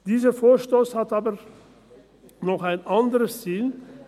Dieser Vorstoss hat aber noch ein anderes Ziel: